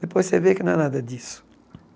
Depois você vê que não é nada disso.